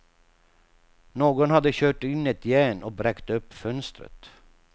Någon hade kört in ett järn och bräckt upp fönstret.